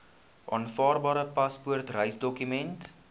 aanvaarbare paspoort reisdokument